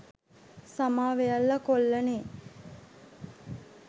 සමා වෙයල්ලා කොල්ලනේ